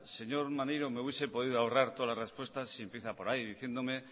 señor maneiro me hubiese podido ahorrar todas las respuestas si empieza por ahí diciéndome